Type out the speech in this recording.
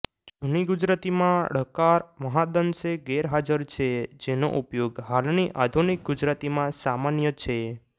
જૂની ગુજરાતીમાં ળકાર મહદાંશે ગેરહાજર છે જેનો ઉપયોગ હાલની આધુનિક ગુજરાતીમાં સામાન્ય છે